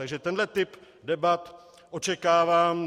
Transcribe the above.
Takže tenhle typ debat očekávám.